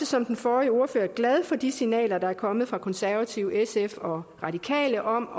som den forrige ordfører også glad for de signaler der er kommet fra konservative sf og radikale om